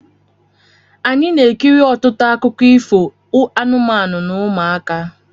Anyị na-ekiri ọtụtụ akụkọ ifo anụmanụ n' ụmụaka.